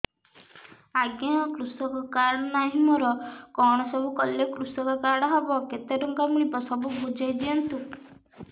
ଆଜ୍ଞା କୃଷକ କାର୍ଡ ନାହିଁ ମୋର କଣ ସବୁ କଲେ କୃଷକ କାର୍ଡ ହବ କେତେ ଟଙ୍କା ମିଳିବ ସବୁ ବୁଝାଇଦିଅନ୍ତୁ